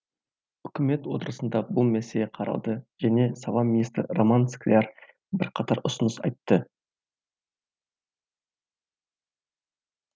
үкімет отырысында бұл мәселе қаралды және сала министрі роман скляр бірқатар ұсыныс айтты